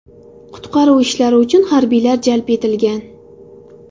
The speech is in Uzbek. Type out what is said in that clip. Qutqaruv ishlari uchun harbiylar jalb etilgan.